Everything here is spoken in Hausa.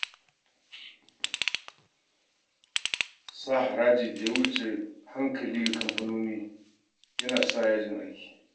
Sa harajin da ya wuce hankali ga kamfanoni yana sa yajin aiki